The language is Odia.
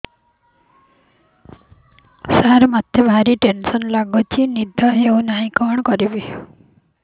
ସାର ମତେ ଭାରି ଟେନ୍ସନ୍ ଲାଗୁଚି ନିଦ ହଉନି କଣ କରିବି